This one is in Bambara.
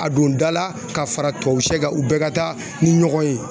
A don da la ka fara tubabu shɛ kan u bɛɛ ka taa ni ɲɔgɔn ye.